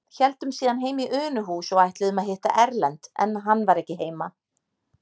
Héldum síðan heim í Unuhús og ætluðum að hitta Erlend, en hann var ekki heima.